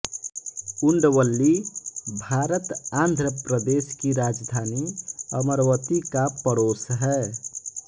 उंडवल्ली भारत आंध्र प्रदेश की राजधानी अमरवती का पड़ोस है